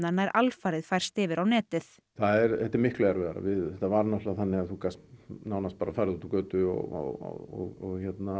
nær alfarið færst yfir á netið þetta er miklu erfiðara þetta var náttúrulega þannig að þú gast nánast bara farið út á götu og